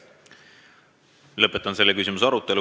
Lõpetan selle küsimuse arutelu.